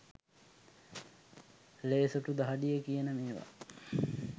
ලේ සොටු දහඩිය කියන මේවා.